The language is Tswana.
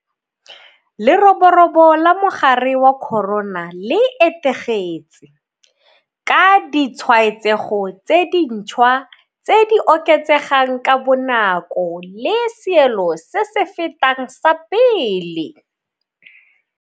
Leroborobo la mogare wa corona le etegetse, ka ditshwaetsego tse dintšhwa tse di oketsegang ka bonako le seelo se se fetang sa pele.